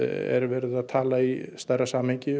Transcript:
er verið að tala í stærra samhengi